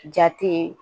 Ja tɛ